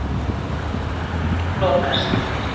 Svíi lokast.